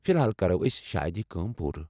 فِلحال کرو أسۍ شاید یہِ كٲم پوٗرٕ ۔